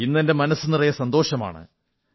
ഇന്നെന്റെ മനസ്സു നിറയെ സന്തോഷമാണ്